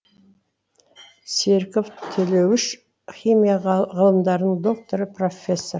серіков төлеуіш химия ғылымдарының докторы профессор